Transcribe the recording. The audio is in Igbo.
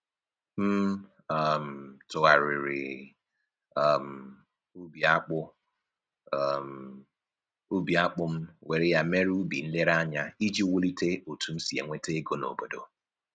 M um tụgharịrị um ubi akpụ um ubi akpụ m were ya mere ubi nlereanya iji wulie otu m si enweta ego n'obodo